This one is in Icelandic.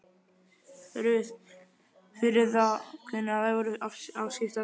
Ruth fyrir það hvað þær voru afskiptar.